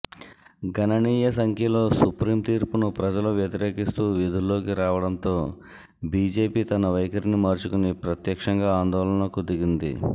గణనీయ సంఖ్యలో సుప్రీం తీర్పును ప్రజలు వ్యతిరేకిస్తూ వీధుల్లోకి రావడంతో బీజేపీ తన వైఖరిని మార్చుకొని ప్రత్యక్షంగా ఆందోళనలకు దిగింది